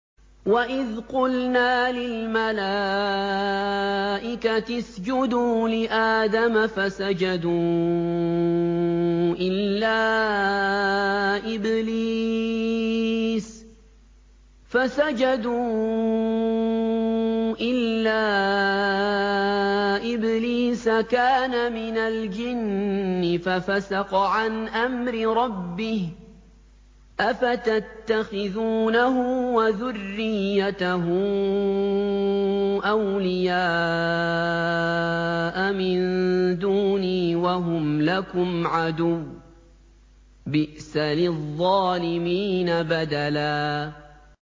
وَإِذْ قُلْنَا لِلْمَلَائِكَةِ اسْجُدُوا لِآدَمَ فَسَجَدُوا إِلَّا إِبْلِيسَ كَانَ مِنَ الْجِنِّ فَفَسَقَ عَنْ أَمْرِ رَبِّهِ ۗ أَفَتَتَّخِذُونَهُ وَذُرِّيَّتَهُ أَوْلِيَاءَ مِن دُونِي وَهُمْ لَكُمْ عَدُوٌّ ۚ بِئْسَ لِلظَّالِمِينَ بَدَلًا